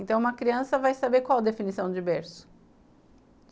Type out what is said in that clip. Então uma criança vai saber qual a definição de berço